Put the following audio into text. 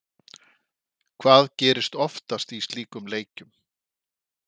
Hvað gerist oftast í slíkum leikjum?